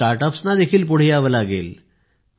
start अपना देखीळ पुढे यावे लागेल